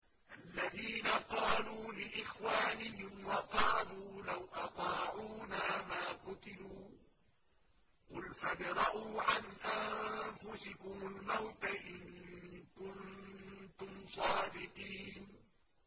الَّذِينَ قَالُوا لِإِخْوَانِهِمْ وَقَعَدُوا لَوْ أَطَاعُونَا مَا قُتِلُوا ۗ قُلْ فَادْرَءُوا عَنْ أَنفُسِكُمُ الْمَوْتَ إِن كُنتُمْ صَادِقِينَ